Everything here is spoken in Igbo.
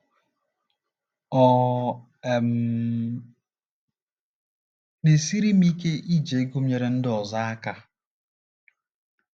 Ọ um ̀ na - esiri m ike iji ego m enyere ndị ọzọ aka?